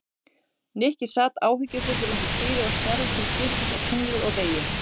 Nikki sat áhyggjufullur undir stýri og starði til skiptist á tunglið og veginn.